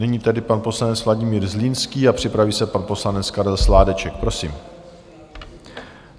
Nyní tedy pan poslanec Vladimír Zlínský a připraví se pan poslanec Karel Sládeček, prosím.